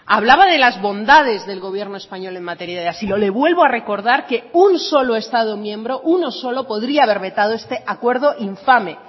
hablaba de las bondades del gobierno español en materia de asilo le vuelvo a recordar que un solo estado miembro uno solo podría haber vetado este acuerdo infame